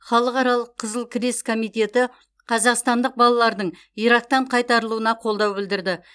халықаралық қызыл крест комитеті қазақстандық балалардың ирактан қайтарылуына қолдау білдірді